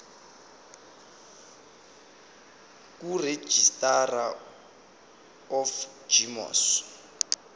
kuregistrar of gmos